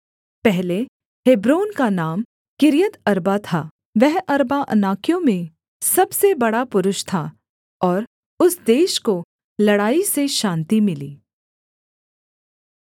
पहले हेब्रोन का नाम किर्यतअर्बा था वह अर्बा अनाकियों में सबसे बड़ा पुरुष था और उस देश को लड़ाई से शान्ति मिली